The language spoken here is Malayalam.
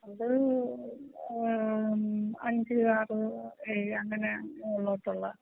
അത് ഏഹ് അഞ്ച് ആറ് ഏഴ്‌ അങ്ങനെ മോളിലോട്ടുള്ള